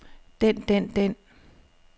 den den den